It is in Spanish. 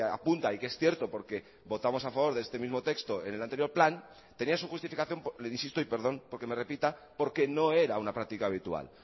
apunta y que es cierto porque votamos a favor de este mismo texto en el anterior plan tenía su justificación le insito y perdón porque me repita porque no era una práctica habitual